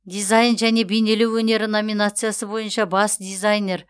дизайн және бейнелеу өнері номинациясы бойынша бас дизайнер